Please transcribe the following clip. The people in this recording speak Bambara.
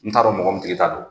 N t'a dɔn mɔgɔ min tigi ta don.